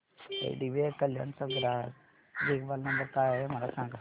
IDBI Kalyan चा ग्राहक देखभाल नंबर काय आहे मला सांगा